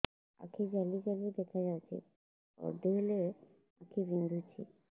ଆଖି ଜାଲି ଜାଲି ଦେଖାଯାଉଛି ପଢିଲେ ଆଖି ବିନ୍ଧୁଛି